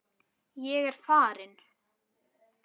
Ég er farinn